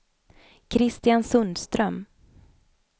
Christian Sundström